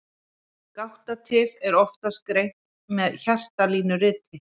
Gáttatif er oftast greint með hjartalínuriti.